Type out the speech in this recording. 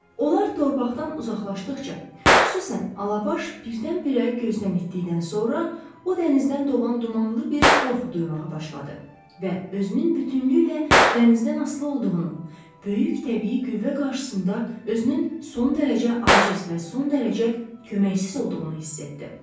Onlar torpaqdan uzaqlaşdıqca, xüsusən Alabaş birdən-birə gözdən itdikdən sonra, o dənizdən doğan dumanlı bir qorxu duymağa başladı və özünün bütünlüklə dənizdən asılı olduğunu, böyük təbii qüvvə qarşısında özünün son dərəcə aciz və son dərəcə köməksiz olduğunu hiss etdi.